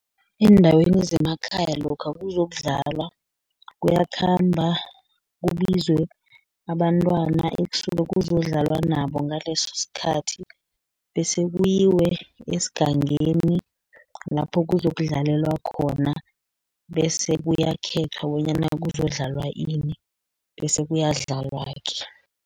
Eendaweni zemakhaya lokha kuzokudlalwa, kuyakhamba kubizwe abantwana ekusuke kuzokudlalwa nabo ngaleso sikhathi, bese kuyiwe esigangeni lapho kuzokudlalelwa khona, bese kuyakhethwa bonyana kuzokudlalwa ini, bese kuyadlalwa-ke.